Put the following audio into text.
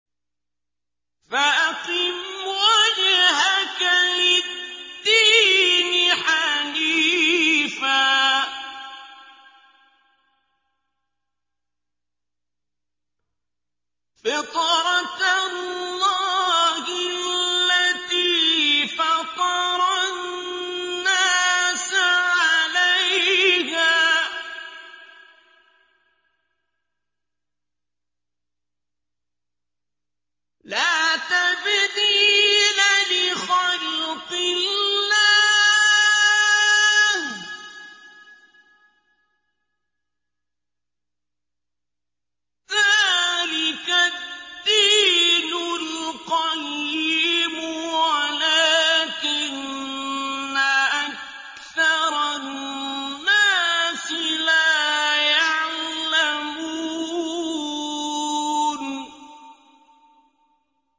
فَأَقِمْ وَجْهَكَ لِلدِّينِ حَنِيفًا ۚ فِطْرَتَ اللَّهِ الَّتِي فَطَرَ النَّاسَ عَلَيْهَا ۚ لَا تَبْدِيلَ لِخَلْقِ اللَّهِ ۚ ذَٰلِكَ الدِّينُ الْقَيِّمُ وَلَٰكِنَّ أَكْثَرَ النَّاسِ لَا يَعْلَمُونَ